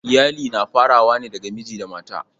Iyali na farawa ne daga miji da mata.